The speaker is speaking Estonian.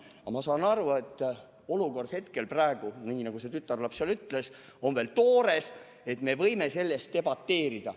Aga ma saan aru, et olukord on praegu, nagu too tütarlaps seal ütles, veel toores ja me võime selle üle debateerida.